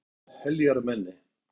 Hann var heljarmenni.